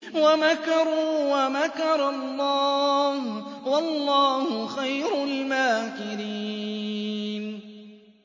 وَمَكَرُوا وَمَكَرَ اللَّهُ ۖ وَاللَّهُ خَيْرُ الْمَاكِرِينَ